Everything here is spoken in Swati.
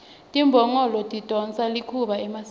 timbongolo tidonsa likhuba emasimini